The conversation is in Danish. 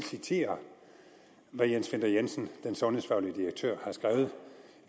citere hvad jens winther jensen den sundhedsfaglige direktør har skrevet